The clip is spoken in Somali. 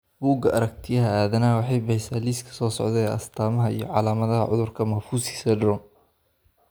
Bugga Aaragtiyaha Aadanaha waxay bixisaa liiska soo socda ee astamaha iyo calaamadaha cudurka Maffucci syndrome.